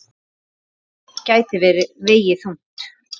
Það gæti vegið þungt.